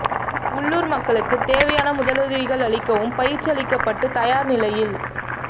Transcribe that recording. உள்ளூா் மக்களுக்கு தேவையான முதலுதவிகள் அளிக்கவும் பயிற்சி அளிக்கப்பட்டு தயாா் நிலையில்